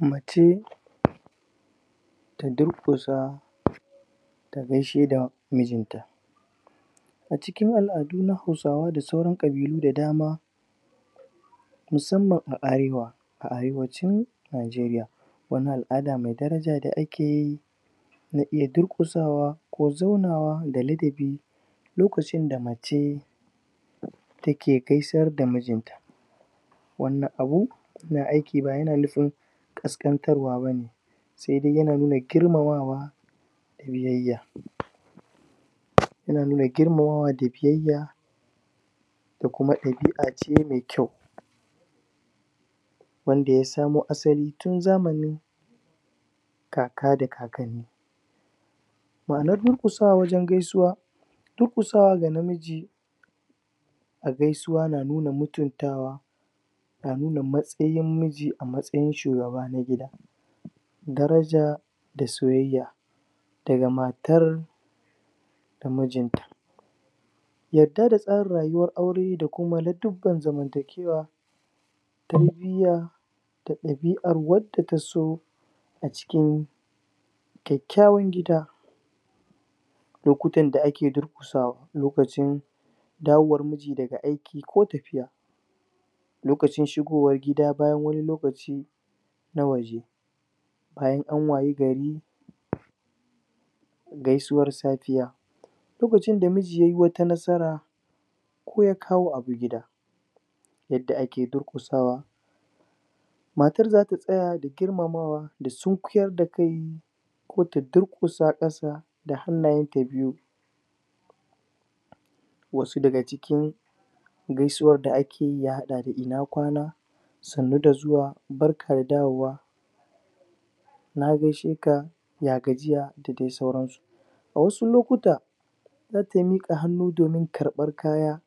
Mace, Ya durkusa Ta gaishe da mijin ta A cikin al'adu na hausawa da sauran ƙabilu da dama Musamman na arewa Arewacin Nigeriya Wani al'ada mai daraja da akeyi Na na durƙkusawa Ko zaunawa da ladabi Lokacin da mace Take gaisar da mijinta wani abu ƙasƙantarwa bane Domun yana nuna girmamawa Da biyayya Yana nuna girmamawa da biyayya Da kuma ɗabi'a ce mai kwau Wanda ya samo asali tun zamanin Kaka da kakanni Ma'anar durƙusawa wajen gaisuwa Durƙusawa ga namiji A gaisuwa na nuna mutuntawa Na nuna matsayin miji a matsayinshi na shugaba na gida Daraja Da soyayya Daga matar, Da mijinta yadda da tsarin rayuwar aure da kuma na zamantakewa Tarbiya Da ɗabi'ar wadda taso A cikin Kekkyawan gida Lokutan da ake durƙusawa Lokacin.. Dawowar miji daga aiki ko tafiyarsa Lokacin shigowa gida bayan wani lokaci na yanzu Bayan an wayi gari Gaisuwar safiya Lokacin da miji yayo wata nasara Ko kawo abu gida Yadda ake durƙusawa Matar zata tsaya da girmamawa Da sunkuyar da kai Kota durƙusa kasa Da hannayenta biyu Wasu daga cikin Gaisuwar da ake ya hada da ina kwana Sannu da zuwa Barka da dawowa Na gaishe ka Ya gajiya Dadai sauran su Wasu lokuta Zata miƙa hannu domin karbar kaya